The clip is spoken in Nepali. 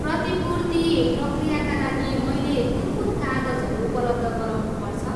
प्रतिपूर्ति प्रक्रियाका लागि मैलेे कुन कुन कागजहरू उपलब्ध गराउनुपर्छ?